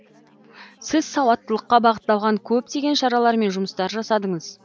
сіз сауаттылыққа бағытталған көптеген шаралар мен жұмыстар жасадыңыз